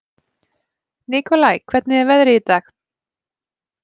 Nikolai, hvernig er veðrið í dag?